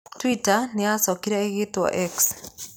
Twitter nĩ yacokire ĩgĩĩtwo X.